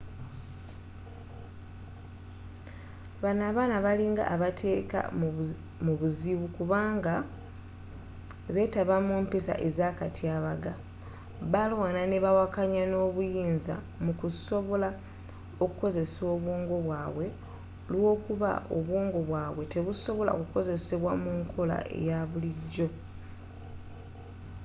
bano abaana balinga abeteeka mu buzibu kubanga betaba mu mpisa ezakatyabaga balwana ne bawakanya ab'obuyinza mu kusobola okukozesa obwongo bwabwe olwokuba obwongo bwabwe tebusobola kukozesebwa mu nkola eya bulijjo